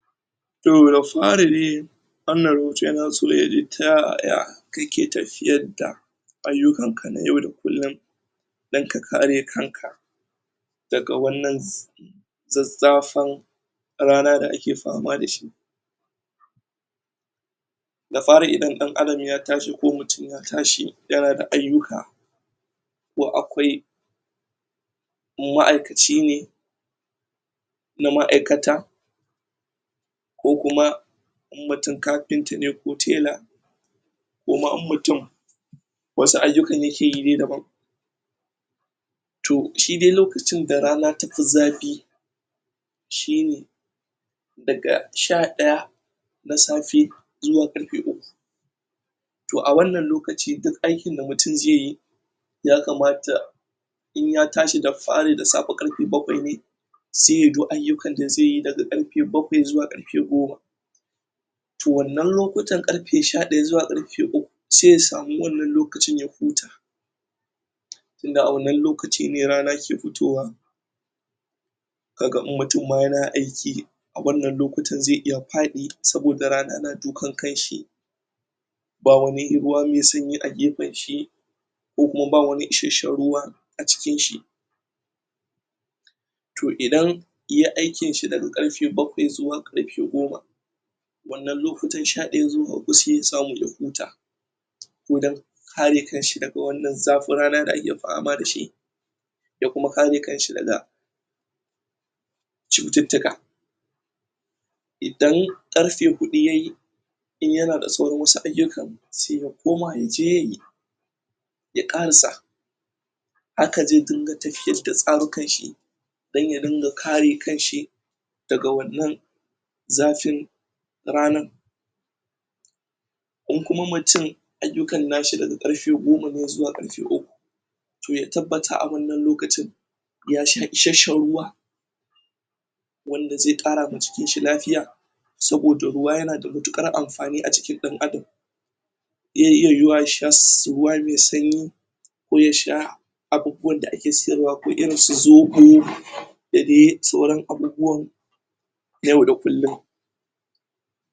To da fari dai wannan rubutu yana so yaji ta yaya kake tafiyar da ayyukan ka na kullum don ka kare kanka daga wannan zazzafan rana da ake fama dashi, da fari idan dan Adam ya taso ko kutum ya tashi yana da ayyuka ko akwai ma'aikaci ne na ma'aikata ko kuma mutum kafinta ne ko tela koma in mutum wasu ayyukan yake yi daban to shi dai lokacin da rana ta fi zafi daga sha daya na safe zuwa karfe uku to a wannan lokacin duk aikin da mutum zai yi ya kamata in ya tashi da fari da safe saj yayi duk ayyukan da zai yi daga karfe bakwai zuwa goma to wannan lokutan karfe sha daya zuwa karfe uku sai ya samu wannann lokacin ya huta tunda a wannan lokacin ne rana ke fitowa kaga in mutum ma yana aiki wannan lokutan zai iya fadi saboda rana na dukan kan shi ba wani ruwa mai sanyi a gefen shi kuma ba wani isashshan ruwa a jikin shi, shi daga karfe bakwai zuwa goma, to wannan to idan aikin lokutan sha daya zuwa hudu sai ya samu ya huta ko dan kare kan shi daga zafin rana da ake fama dashi da kuma kare kan shi daga cututtuka idan karfe hudu yayi in yana da sauran wasu ayyukan sai ya koma yaje yayi ya karasa haka zai dinga tafiyar da alamuran shi don ya dinga kare kan shi daga wannan zafin ranar in kuma mutum ayyukan nashi daga karfe goma ne zuwa uku to ya tabbatar a wannan lokacin ya sha isashshan ruwa wanda zai kara wa jikin shi lafiya saboda ruwa yana da matukar amfani a jikin dan adam zai iya yiwuwa ya sha ruwa mai sanyi ko ya sha abubuwan su zobo da dai sauran abubuwan yau da kullum.